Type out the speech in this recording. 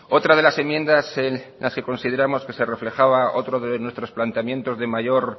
otra de las enmiendas en las que consideramos que se reflejaba otro de nuestros planteamientos de mayor